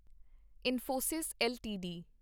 Infosys LTD